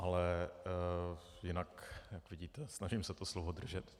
Ale jinak, jak vidíte, snažím se to slovo držet.